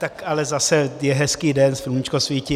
Tak ale zase je hezký den, sluníčko svítí.